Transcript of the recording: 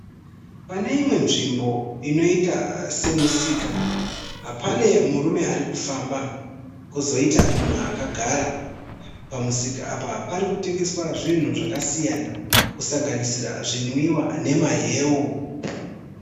Pane imwe nzvimbo inoita semusika. Pane murume arikufamba kwozoita mumwe akagara. Pamusika apa parikutengeswa zvinhu zvakasiyana kusanganisira zvinwiwa nemahewu.